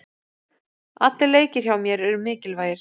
Allir leikir hjá mér eru mikilvægir.